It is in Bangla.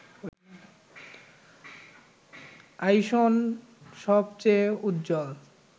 আইসন সবচেয়ে উজ্জ্বল